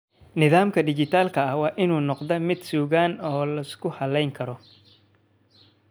Nidaamka dhijitaalka ah waa inuu noqdaa mid sugan oo la isku halayn karo.